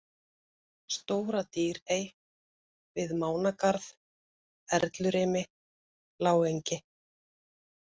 Stóra-Dýrey, Við Mánagarð, Erlurimi, Lágengi